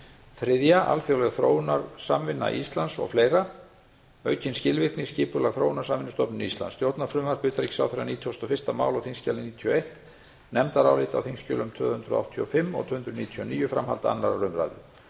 þriðja alþjóðleg þróunarsamvinna íslands og fleiri stjórnarfrumvarp nítugasta og fyrsta mál þingskjal níutíu og eitt nefndarálit tvö hundruð áttatíu og fimm og tvö hundruð níutíu og níu framhald annarrar umræðu